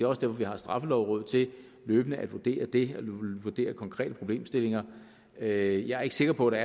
også derfor vi har straffelovrådet til løbende at vurdere det og vurdere konkrete problemstillinger jeg er ikke sikker på at